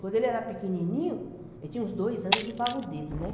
Quando ele era pequenininho, ele tinha uns dois anos, ele chupava o dedo, né?